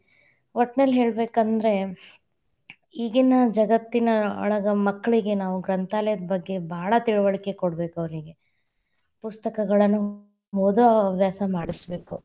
ಒಟ್ಟನಲ್ಲಿ ಹೇಳಬೇಕಂದ್ರೆ, ಈಗೀನ ಜಗತ್ತಿನ ಒಳಗ ಮಕ್ಕಳಿಗೆ ನಾವು ಗ್ರಂಥಾಲಯದ ಬಗ್ಗೆ ಭಾಳ ತಿಳುವಳಿಕೆ ಕೊಡಬೇಕ್ ಅವ್ರೀಗೆ, ಪುಸ್ತಕಗಳನ್ನ ಓದೊ ಹವ್ಯಾಸ ಮಾಡಿಸಬೇಕು.